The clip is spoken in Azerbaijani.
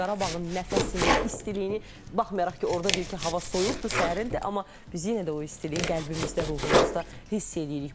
O Qarabağın nəfəsini, istiliyini, baxmayaraq ki, orda deyir ki, hava soyuqdur, səhərindir, amma biz yenə də o istiliyi qəlbimizdə, ruhumuzda hiss eləyirik.